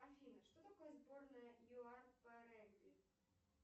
афина что такое сборная юар по регби